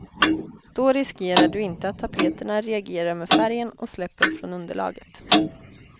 Då riskerar du inte att tapeterna reagerar med färgen och släpper från underlaget.